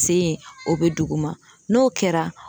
Sen ye o bɛ duguma n'o kɛra